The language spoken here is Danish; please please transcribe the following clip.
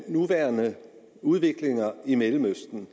nuværende udvikling i mellemøsten